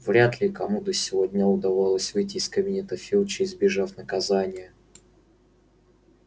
вряд ли кому до сего дня удавалось выйти из кабинета филча избежав наказания